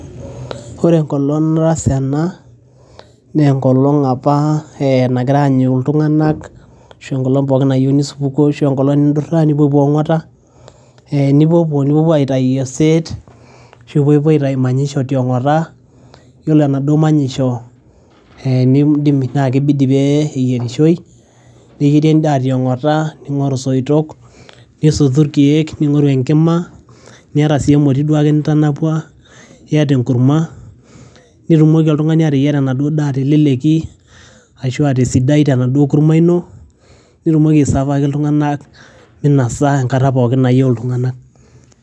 ore enkolong nataasa ena, naa enkolong apa ee nagirae aanyu iltung'anak ashu enkolong pookin nayieuni supukuu ashu enkolong nindurra nipuopuo ong'ota eh nipuopuo, nipuopuo aitai oseet ashu pepuoi aitai manyisho tiong'ota yiolo enaduo manyisho eh nidimi naa kibidi pee eyierishoi neyieri endaaa tiong'ota ning'oru isoitok nisotu irkeek ning'oru enkima niata sii emoti duake nitanapua iyata enkurma nitumoki oltung'ani ateyiara enaduo daa teleleki ashua tesidai tenaduo kurma ino nitumoki aisavaki iltung'anak minasa enkata pookin nayieu iltung'anak.